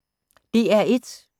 DR1